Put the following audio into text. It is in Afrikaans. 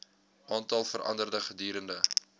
aantal verander gedurende